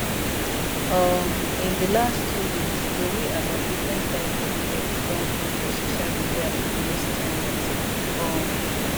um in di last two weeks tori about different type of death don full for social media and news channels um